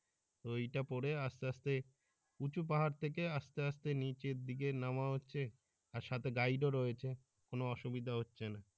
তো এই টা পরে আস্তে আস্তে উচু পাহাড় থেকে আস্তে আস্তে নিচের দিকে নামা হচ্ছে আর সাথে গাউডও রয়েছে কোন অসুবিধা হচ্ছে না।